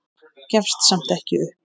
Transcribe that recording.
Gefst samt ekki upp.